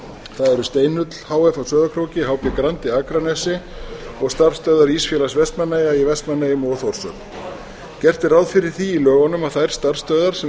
það eru steinull h f á sauðárkróki hb grandi akranesi og starfsstöðvar ísfélags vestmannaeyja í vestmannaeyjum og á þórshöfn gert er ráð fyrir því í lögunum að þær starfsstöðvar sem